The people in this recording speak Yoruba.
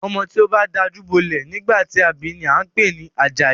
Ọmọ tí o bá dajú bolẹ̀ nígbà tí a bi ni a ń pè ní Àjàyí.